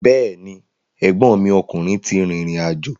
Bẹ́ẹ̀ni, ẹ̀gbọ́nmi ọkùnrin ti rìrìn àjò.